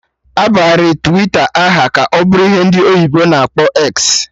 Abagharị Twita aha ka ọ bụrụ ihe ndị oyibo na akpọ 'eksi'